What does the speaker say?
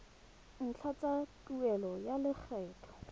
ntlha tsa tuelo ya lekgetho